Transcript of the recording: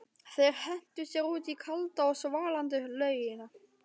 Þeir hentu sér út í kalda og svalandi laugina.